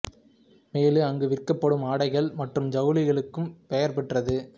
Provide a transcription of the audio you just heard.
மேலும் அங்கு விற்கப்படும் ஆடைகள் மற்றும் ஜவுளிகளுக்கும் பெயர் பெற்றது